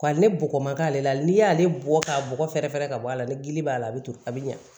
Ka ne bɔgɔ man k'ale la n'i y'ale bɔ k'a bɔgɔ fɛrɛ ka bɔ a la ni gili b'a la a bɛ to a bɛ ɲa